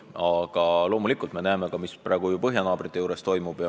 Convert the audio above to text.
Aga me näeme, mis praegu põhjanaabrite juures toimub.